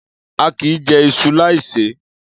A kìí jẹ iṣu láì ṣe é.